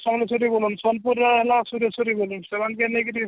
ସମଲେଶ୍ଵରୀ ସମ୍ବଲପୁର ରେ ହେଲା ସୁରେଶ୍ଵରୀ ବୋଲୁନ